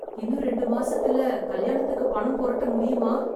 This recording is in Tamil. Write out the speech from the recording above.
இன்னும் ரெண்டு மாசத்துல கல்யாணத்துக்கு பணம் புரட்ட முடியுமா?